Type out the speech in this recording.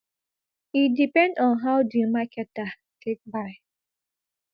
e depend on how di marketer take buy